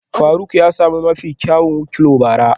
Faruk ya sami mafi kyawun wikliow bara